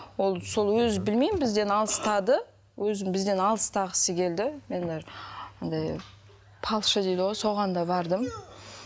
ол сол өзі білмеймін бізден алыстады өзі бізден алыстағысы келді мен даже дейді ғой соған да бардым